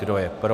Kdo je pro?